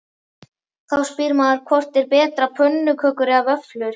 Þá spyr maður hvort er betra pönnukökur eða vöfflur?